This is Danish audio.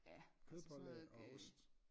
Kødpålæg og ost